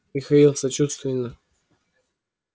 михаил сочувственно